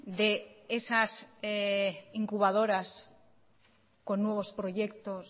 de esas incubadoras con nuevos proyectos